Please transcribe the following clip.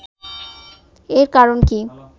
এর কারণ কি